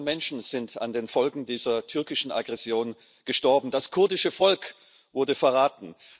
Hunderte von Menschen sind an den Folgen dieser türkischen Aggression gestorben, das kurdische Volk wurde verraten.